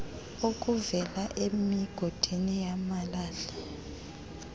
okuvela emigodini yamalahle